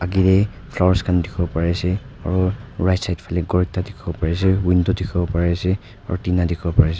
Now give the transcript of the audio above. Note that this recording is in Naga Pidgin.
agae flowers khan dekhivole pari ase aro right side phale ghor ekta dekhivole pari ase window dekhivole pari ase aro tina dekhivole pari ase.